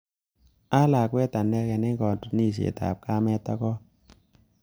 Alakwet anekei eng katunisiet ab kamet ak kon